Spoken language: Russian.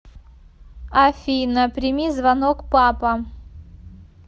афина прими звонок папа